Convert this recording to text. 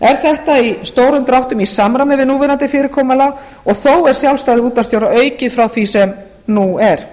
er þetta í stórum dráttum í samræmi við núverandi fyrirkomulag en þó er sjálfstæði útvarpsstjóra aukið frá því sem nú er